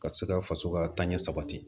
Ka se ka faso ka taɲɛ sabati